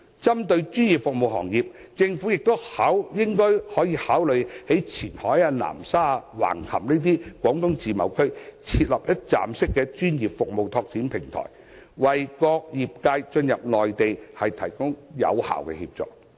針對專業服務行業，政府亦可以考慮在位於前海、南沙、橫琴的中國自由貿易試驗區，設立一站式專業服務拓展平台，為各個業界進入內地提供有效協助。